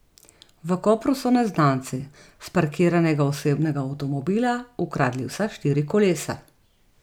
V Kopru so neznanci s parkiranega osebnega avtomobila ukradli vsa štiri kolesa.